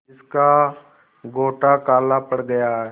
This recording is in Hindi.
जिसका गोटा काला पड़ गया है